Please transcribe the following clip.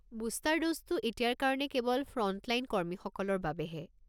Booster ড'জটো এতিয়াৰ কাৰণে কেৱল ফ্ৰণ্টলাইন কৰ্মীসকলৰ বাবেহে।